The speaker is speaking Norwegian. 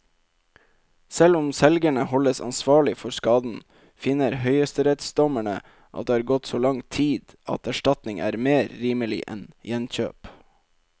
Selv om selgerne holdes ansvarlig for skaden, finner høyesterettsdommerne at det har gått så lang tid at erstatning er mer rimelig enn gjenkjøp.